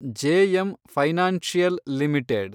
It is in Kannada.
JM financial limited